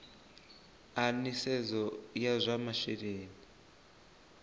a nisedzo ya zwa masheleni